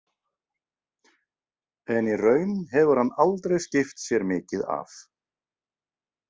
En í raun hefur hann aldrei skipt sér mikið af.